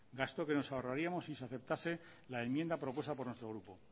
gasto que nos ahorraríamos si se aceptase la enmienda propuesta por nuestro grupo